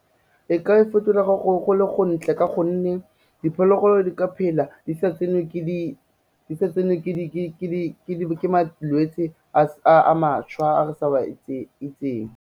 E ka e fetolega go le gontle ka gonne diphologolo di ka phela di sa tsenwe ke malwetse a mašwa a re sa o a itseng.